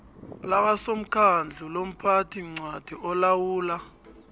lakasomaakhawundi lomphathiincwadi olawula